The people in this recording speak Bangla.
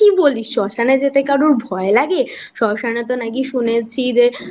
কি বলিস শ্মশানে যেতে কারোর ভয় লাগে শ্মশানেতো নাকি শুনেছি যে